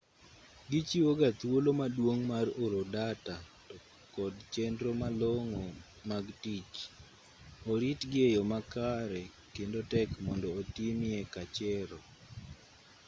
gichiwo ga thuolo maduong' mar oro data to kod chenro malong'o mag tich oritgi e yo makare kendo tek momdo otimie kachero